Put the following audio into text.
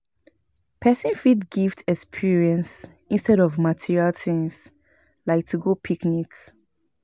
Persin fit gift experience instead of material things like to go picnic